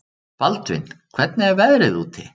Baldvin, hvernig er veðrið úti?